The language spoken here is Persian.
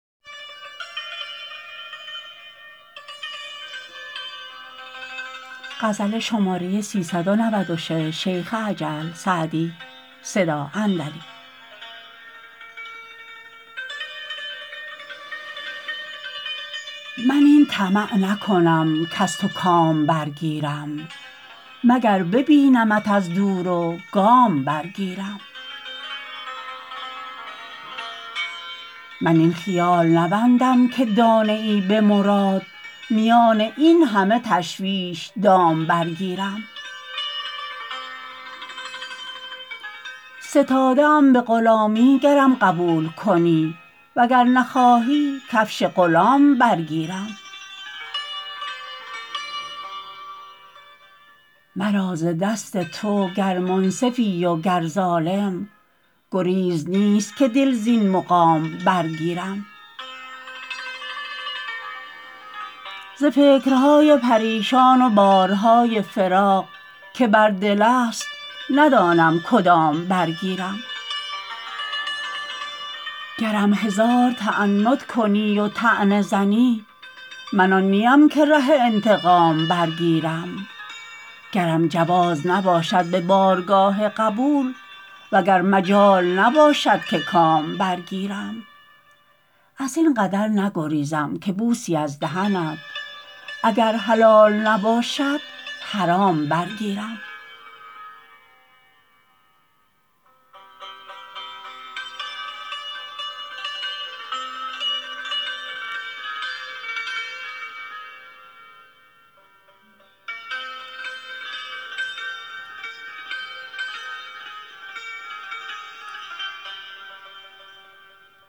من این طمع نکنم کز تو کام برگیرم مگر ببینمت از دور و گام برگیرم من این خیال نبندم که دانه ای به مراد میان این همه تشویش دام برگیرم ستاده ام به غلامی گرم قبول کنی و گر نخواهی کفش غلام برگیرم مرا ز دست تو گر منصفی و گر ظالم گریز نیست که دل زین مقام برگیرم ز فکرهای پریشان و بارهای فراق که بر دل است ندانم کدام برگیرم گرم هزار تعنت کنی و طعنه زنی من آن نیم که ره انتقام برگیرم گرم جواز نباشد به بارگاه قبول و گر مجال نباشد که کام برگیرم از این قدر نگریزم که بوسی از دهنت اگر حلال نباشد حرام برگیرم